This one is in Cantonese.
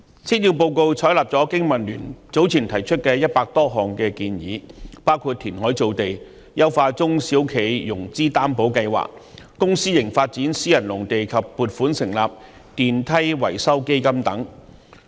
施政報告採納了香港經濟民生聯盟早前提出的100多項建議，包括填海造地、優化中小企融資擔保計劃、公私營發展私人農地及撥款成立電梯維修基金等。